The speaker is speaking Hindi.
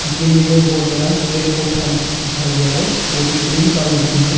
पेड़ पौधा दिखाई दे रा है वो भी ग्रीन कलर मे है।